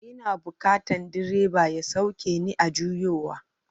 Ina bukatan direba ya sauke ni a juyowa.